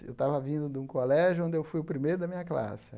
Eu estava vindo de um colégio onde eu fui o primeiro da minha classe.